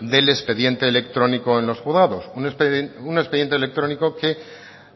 del expediente electrónico en los juzgados un expediente electrónico en los juzgado un expediente electrónico que